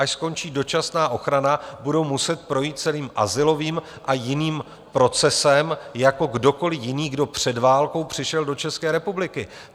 Až skončí dočasná ochrana, budou muset projít celým azylovým a jiným procesem jako kdokoli jiný, kdo před válkou přišel do České republiky.